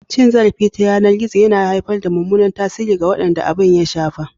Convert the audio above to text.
Cin zarafi ta yanar gizo yana haifar da mummunan tasiri ga waɗanda abin ya shafa.